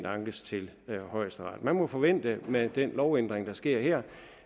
ankes til højesteret man må forvente med den lovændring der sker her